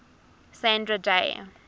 sandra day